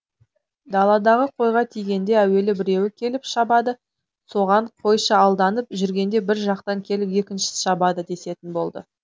даладағы қойға тигенде әуелі біреуі келіп шабады соған қойшы алданып жүргенде бір жақтан келіп екіншісі шабады десетін болды